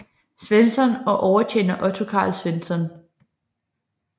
Svensson og overtjener Otto Carl Svensson